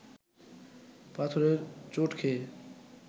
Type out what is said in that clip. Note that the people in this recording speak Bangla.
পাথরের চোট খেয়ে